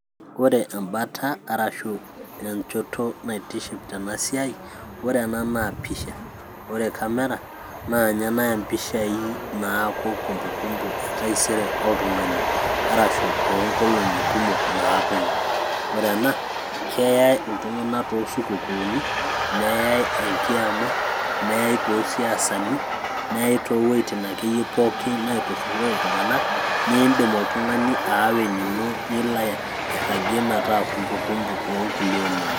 ore embata arashu enchoto naitiship tena siai ore ena pisha ore camera na nye naya mpishai naaku kumbukumbu etaisere oltung'ani arashu onkolong'i kumok naaponu ore ena keyai iltung'anak tosukukuni neyai enkiama neyai tosiasani neyai towuejitin akeyie pookin naiturrurore iltung'anak nindim oltung'ani aawa enino nilo airragie metaa kumbukumbu onkulie olong'i